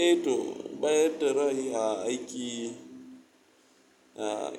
Eh to, bayar da ra'ayi a aiki